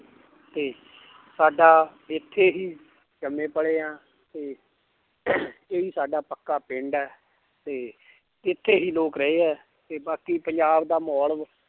ਤੇ ਸਾਡਾ ਇੱਥੇ ਹੀ ਜੰਮੇ ਪਲੇ ਹਾਂ ਤੇ ਇਹੀ ਸਾਡਾ ਪੱਕਾ ਪਿੰਡ ਹੈ ਤੇ ਇੱਥੇ ਹੀ ਲੋਕ ਰਹੇ ਹੈ ਤੇ ਬਾਕੀ ਪੰਜਾਬ ਦਾ ਮਾਹੌਲ